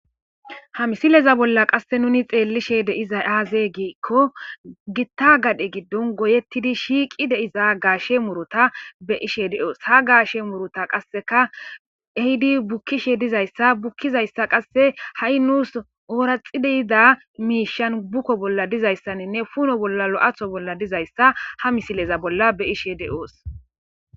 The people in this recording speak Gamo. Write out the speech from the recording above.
Ha misileza bolla qasse nuni xeellishe deiza haazeegikko gitta gadhe giddon goyettidi shiiqi deiza gaashe murota be ishe de'oos ha gaashe murota qasseka ehidi bukkishe dizayssa bukkizayssa qasse ha'i nuus ooraxi deyida miishan bukko bolla dizayssaninne puno bolla lo'aatho bolla dizayssa ha misileza bolla be .ishe de'oos.